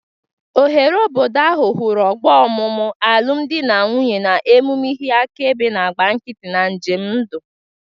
Oghere obodo ahụ hụrụ ọgbọ ọmụmụ, alụm di na nwunye, na emume, ihe akaebe na-agba nkịtị na njem ndụ.